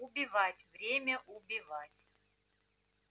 убивать время убивать